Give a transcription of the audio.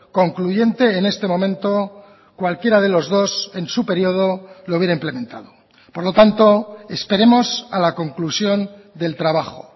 concluyente en este momento cualquiera de los dos en su periodo lo hubiera implementado por lo tanto esperemos a la conclusión del trabajo